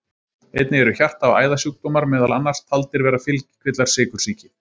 Einnig eru hjarta- og æðasjúkdómar meðal annars taldir vera fylgikvillar sykursýki.